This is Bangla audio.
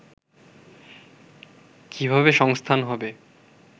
কিভাবে সংস্থান হবে